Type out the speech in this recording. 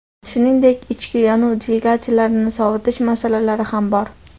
Shuningdek, ichki yonuv dvigatellarini sovutish masalasi ham bor.